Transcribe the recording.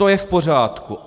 To je v pořádku.